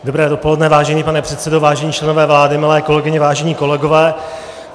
Dobré dopoledne, vážený pane předsedo, vážení členové vlády, milé kolegyně, vážení kolegové.